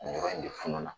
Ɲɔgɔn in de fununa